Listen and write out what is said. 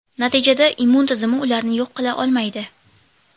Natijada immun tizimi ularni yo‘q qila olmaydi.